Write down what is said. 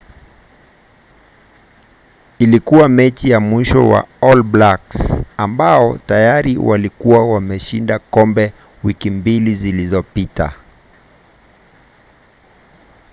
ilikuwa mechi ya mwisho kwa all blacks ambao tayari walikuwa wameshinda kombe wiki mbili zilizopita